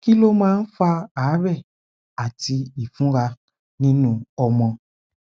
kí ló máa ń fa àárè àti ìfunra nínú ọmọ